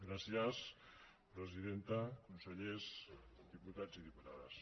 gràcies presidenta consellers diputats i diputades